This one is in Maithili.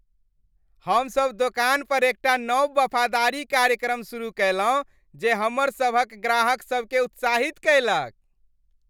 हमसभ दोकान पर एकटा नव वफादारी कार्यक्रम सुरुह कयलहुँ जे हमरसभक ग्राहकसभकेँ उत्साहित कयलक।